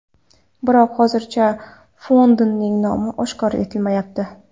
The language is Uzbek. Biroq hozircha fondning nomi oshkor etilmayapti.